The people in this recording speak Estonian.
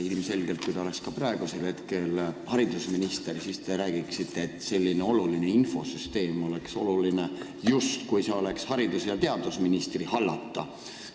Kui te oleks praegu haridusminister, siis te räägiksite samuti, et selline infosüsteem on väga oluline, ja see valdkond ongi haridus- ja teadusministri hallata.